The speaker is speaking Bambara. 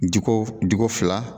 Di ko fila.